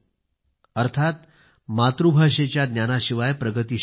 अर्थात मातृभाषेच्या ज्ञानाशिवाय प्रगती शक्य नाही